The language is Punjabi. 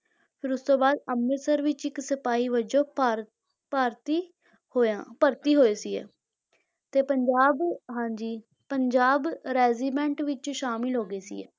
ਫਿਰ ਉਸ ਤੋਂ ਬਾਅਦ ਅੰਮ੍ਰਿਤਸਰ ਵਿੱਚ ਇੱਕ ਸਿਪਾਹੀ ਵਜੋਂ ਭਾਰ~ ਭਰਤੀ ਹੋਇਆ, ਭਰਤੀ ਹੋਏ ਸੀ ਇਹ ਤੇ ਪੰਜਾਬ ਹਾਂਜੀ ਪੰਜਾਬ regiment ਵਿੱਚ ਸ਼ਾਮਲ ਹੋ ਗਏ ਸੀ ਇਹ।